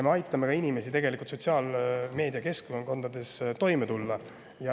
Me aitame ka inimestel sotsiaalmeedia keskkondades toime tulla.